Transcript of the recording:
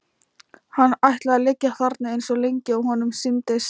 Hann ætlaði að liggja þarna eins lengi og honum sýndist.